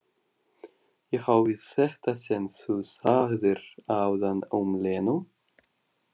Ég á við þetta sem þú sagðir áðan um Lenu?